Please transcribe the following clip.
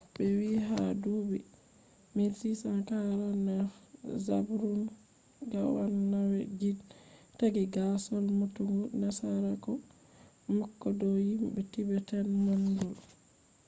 be vii ha dubi 1649,zhabdrung ngawang namgyel ,taaggi gaasol numtugo nasaraku mako dow himbe tibetan-mongol